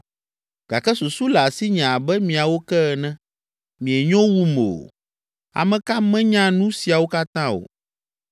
Gake susu le asinye abe miawo ke ene. Mienyo wum o. Ame ka menya nu siawo katã o?